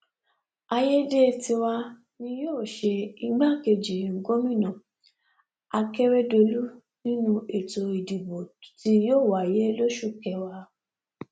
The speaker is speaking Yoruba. àyédètiwa ni yóò ṣe igbákejì gómìnà akérèdọlù nínú ètò ìdìbò tí yóò wáyé lóṣù kẹwàá